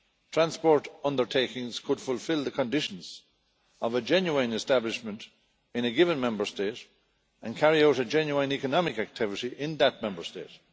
Transport undertakings could fulfil the conditions of a genuine establishment in a given Member State and carry out a genuine economic activity in that Member State.